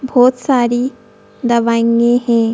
बहुत सारी दवाइयां है।